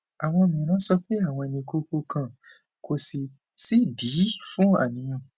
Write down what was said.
àwọn mìíràn sọ pé àwọn ní kókó kan kò sì sídìí fún àníyàn